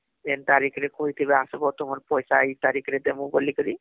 ଯେନ ତାରିଖ ରେ କହିଥିବେ ଆସବ ତୁମର ପଇସା ଏଇ ତାରିଖ ରେ ଡେ଼ମୁଁ ବୋଲି କରି